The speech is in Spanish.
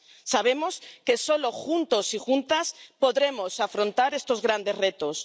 Sabemos que solo juntos y juntas podremos afrontar estos grandes retos.